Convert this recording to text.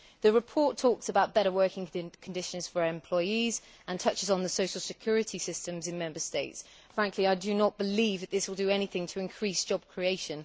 The report talks about better working conditions for employees and touches on the social security systems in Member States. I do not believe that this will do anything to increase job creation